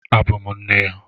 Abụ m nne ya.